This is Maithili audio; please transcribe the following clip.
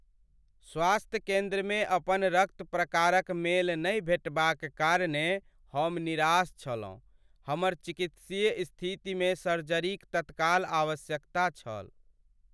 स्वास्थ्य केन्द्रमे अपन रक्त प्रकारक मेल नहि भेटबाक कारणेँ हम निराश छलहुँ। हमर चिकित्सीय स्थितिमे सर्जरीक तत्काल आवश्यकता छल।